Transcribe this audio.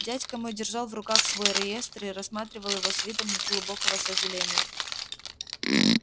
дядька мой держал в руках свой реестр и рассматривал его с видом глубокого сожаления